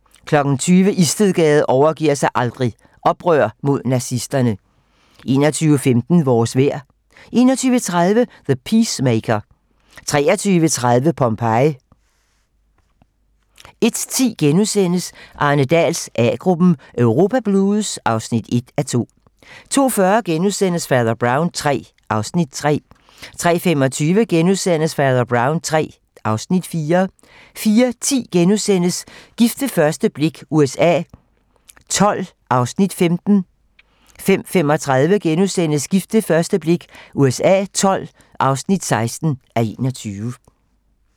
20:00: Istedgade overgiver sig aldrig - Oprør mod nazisterne 21:15: Vores vejr 21:30: The Peacemaker 23:30: Pompeji 01:10: Arne Dahls A-gruppen: Europa blues (1:2)* 02:40: Fader Brown III (Afs. 3)* 03:25: Fader Brown III (Afs. 4)* 04:10: Gift ved første blik USA XII (15:21)* 05:35: Gift ved første blik USA XII (16:21)*